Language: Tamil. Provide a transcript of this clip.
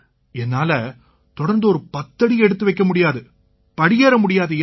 என்னால தொடர்ந்து ஒரு பத்தடி எடுத்து வைக்க முடியாது படியேற முடியாதுய்யா